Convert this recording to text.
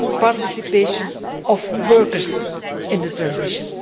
participation of workers in the transition.